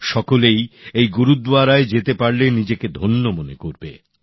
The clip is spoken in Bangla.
সকলেই এই গুরুদ্বারায় যেতে পারলে নিজেকে ধন্য মনে করবে